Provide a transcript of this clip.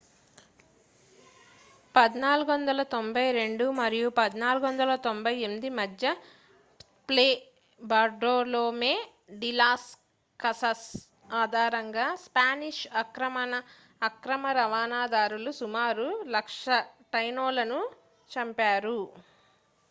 1492 మరియు 1498 మధ్య Fray Bartolome de las Casas Tratado de las Indias ఆధారంగా స్పానిష్ ఆక్రమణ దారులు సుమారు 100,000 టైనోలను చంపారు